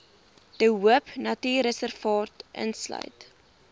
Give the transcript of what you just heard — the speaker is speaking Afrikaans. de hoopnatuurreservaat insluit